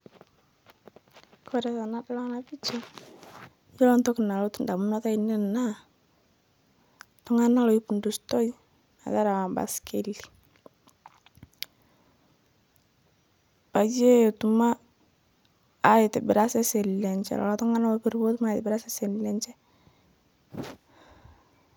Kore tanadol ana picha iyolo ntoki nalotu ndamunot ainen naa ltung'ana loipundustoi metarawa mpaskeli peyie etum aitibiraa seseni lenshe lolo tung'ana lopiru peetum aitibira seseni lenshe.